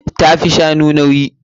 Ta fi shanu nauyi.